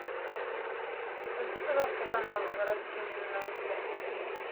включи пожалуйста канал с городскими новостями